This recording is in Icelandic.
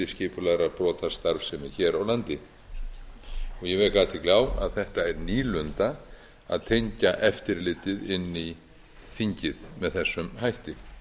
skipulagðrar brotastarfsemi hér á landi ég vek athygli á að þetta er nýlunda að tengja eftirlitið inn í þingið með þessum hætti